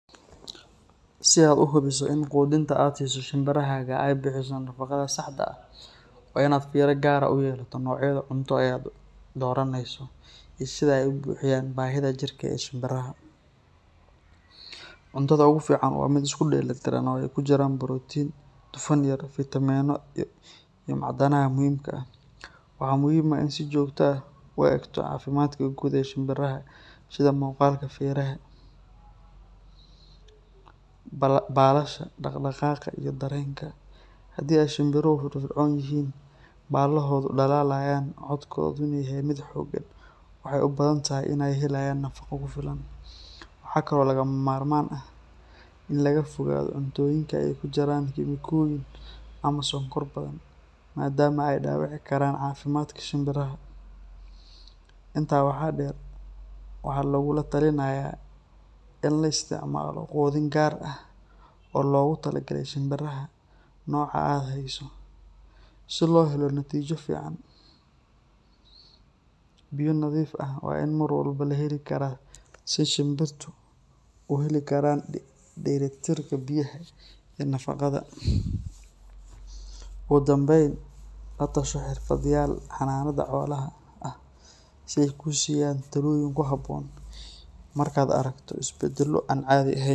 Si aad u hubiso in quudinta aad siiso shimbirahaaga ay bixiso nafaqada saxda ah, waa inaad fiiro gaar ah u yeelataa noocyada cunto ee aad u dooranayso iyo sida ay u buuxinayaan baahiyaha jirka ee shimbiraha. Cuntada ugu fiican waa mid isku dheelitiran oo ay ku jiraan borotiin, dufan yar, fiitamiinno iyo macdanaha muhiimka ah. Waxaa muhiim ah inaad si joogto ah u eegto caafimaadka guud ee shimbiraha sida muuqaalka feeraha, baalasha, dhaqdhaqaaqa iyo dareenka. Haddii ay shimbiruhu firfircoon yihiin, baalahoodu dhalaalayaan, codkooduna yahay mid xooggan, waxay u badan tahay inay helayaan nafaqo ku filan. Waxa kale oo lagama maarmaan ah in laga fogaado cuntooyinka ay ku jiraan kiimikooyin ama sonkor badan maadaama ay dhaawici karaan caafimaadka shimbiraha. Intaa waxaa dheer, waxaa lagugula talinayaa in la isticmaalo quudin gaar ah oo loogu talagalay shimbiraha nooca aad hayso, si loo helo natiijo fiican. Biyo nadiif ahna waa in mar walba la heli karaa si shimbiruhu u heli karaan dheellitirka biyaha iyo nafaqada. Ugu dambayn, la tasho xirfadlayaal xanaanada xoolaha ah si ay kuu siiyaan talooyin ku habboon marka aad aragto isbeddello aan caadi ahayn.